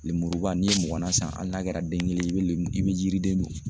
Lenmuruba n'i ye mugannan san hali n'a kɛra den kelen ye i bɛ len i bɛ yiriden